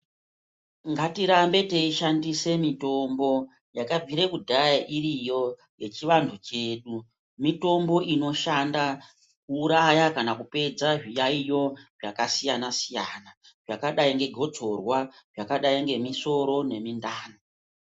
Ngatirambe teishandise mitombo yakabvire kudhaya iriyo yechivanhu chedu. Mitombo inoshanda kuuraya kana kupedza zviyayiyo zvakasiyana siyana zvakadai ngegotsorwa zvakadai ngemisoro nemindani.